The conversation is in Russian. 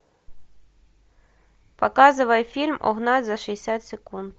показывай фильм угнать за шестьдесят секунд